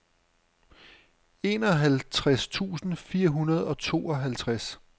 enoghalvtreds tusind fire hundrede og tooghalvtreds